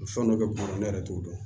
Fɛn dɔ bɛ kun na ne yɛrɛ t'o dɔn